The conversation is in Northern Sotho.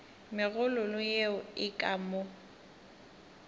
megololo yeo e ka mo